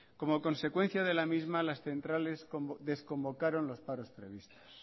como consecuencia de la misma las centrales desconvocaron los paros previstos